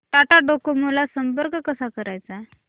Tata Docomo ला संपर्क कसा करायचा